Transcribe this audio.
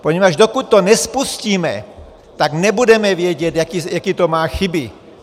Poněvadž dokud to nespustíme, tak nebudeme vědět, jaké to má chyby.